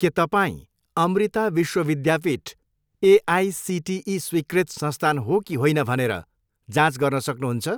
के तपाईँँ अमृता विश्व विद्यापीठमा एआइसिटिई स्वीकृत संस्थान हो कि होइन भनेर जाँच गर्न सक्नुहुन्छ?